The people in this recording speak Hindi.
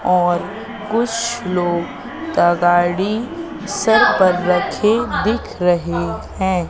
और कुछ लोग तगाड़ी सर पर रखे दिख रहे हैं।